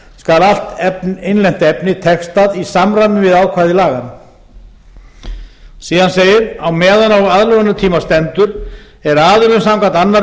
skal allt innlent efni textað í samræmi við ákvæði laganna síðan segir á meðan á aðlögunartíma stendur er aðilum samkvæmt annarri